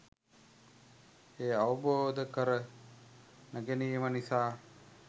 එය අවබෝධකර නොගැනීම නිසා